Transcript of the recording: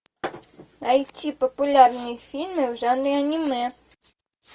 найти популярные фильмы в жанре аниме